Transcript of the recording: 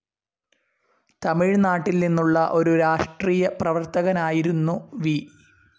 തമിഴ്നാട്ടിൽ നിന്നുള്ള ഒരു രാഷ്ട്രീയ പ്രവർത്തകനായിരുന്നു വി.